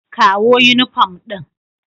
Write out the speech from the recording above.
Kawo yunifom ɗin.